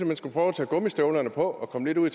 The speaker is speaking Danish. man skulle prøve at tage gummistøvlerne på og komme lidt ud